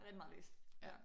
Rigtig meget at læse ja